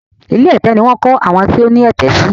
ilé ẹ̀tẹ̀ ní wón kọ àwọn tó ní ẹ̀tẹ̀ sí